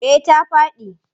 Eh ta faɗi.